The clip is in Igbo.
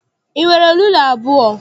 I nwere rula abụọ?